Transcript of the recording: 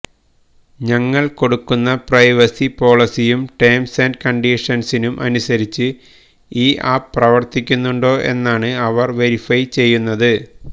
ഞങ്ങള് കൊടുക്കുന്ന പ്രൈവസി പോളിസിയും ടേംസ് ആന്റ് കണ്ടീഷന്സിനും അനുസരിച്ച് ഈ ആപ്പ് പ്രവര്ത്തിക്കുന്നുണ്ടോ എന്നാണ് അവര് വെരിഫൈ ചെയ്യുന്നത്